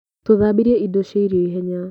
Tũthambirie indo cia irio ihenya.